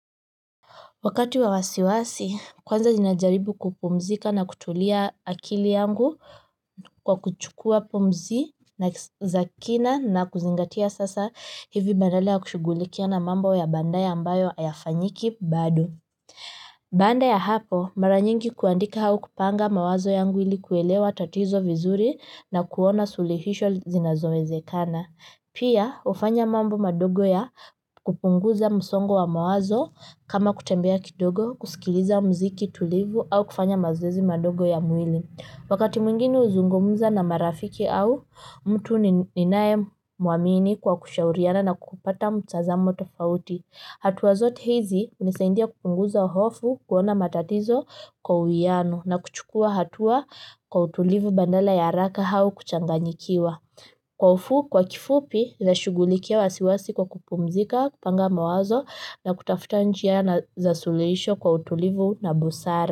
Wakati wa wasiwasi, kwanza ninajaribu kupumzika na kutulia akili yangu, kwa kuchukua pumzi na za kina, na kuzingatia sasa hivi, badala ya kushugulikia na mambo ya baadaye, ambayo hayafanyiki bado baada ya hapo, mara nyingi kuandika au kupanga mawazo yangu ili kuelewa tatizo vizuri, na kuona suluhisho zinazowezekana. Pia, hufanya mambo madogo ya kupunguza msongo wa mawazo, kama kutembea kidogo, kusikiliza mziki tulivu, au kufanya mazoezi madogo ya mwili. Wakati mwingine, huzungumza na marafiki au, mtu ninae muamini kwa kushauriana na kupata mtazamo tofauti. Hatua zote hizi, hunisaidia kupunguza hofu, kuona matatizo kwa uwiano, na kuchukua hatua kwa utulivu, badala ya haraka au kuchanganyikiwa kwa ufu, kwa kifupi, nashughulikia wasiwasi kwa kupumzika, kupanga mawazo na kutafuta njia za suluhisho, kwa utulivu na busara.